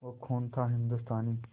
वो खून था हिंदुस्तानी